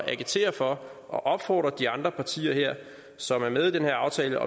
at agitere for og opfordre de andre partier som er med i den her aftale